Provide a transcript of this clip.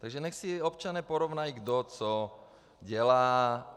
Takže nechť si občané porovnají, kdo co dělá.